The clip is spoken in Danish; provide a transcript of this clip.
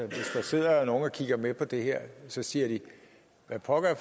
sidder nogle og kigger med på det her så siger hvad pokker er